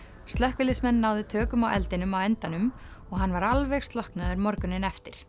slökkviliðsmenn náðu tökum á eldinum á endanum og hann var alveg slokknaður morguninn eftir